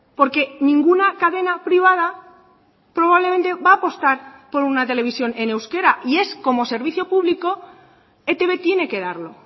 porque ninguna cadena privada probablemente va a apostar por una televisión en euskera y es como servicio público etb tiene que darlo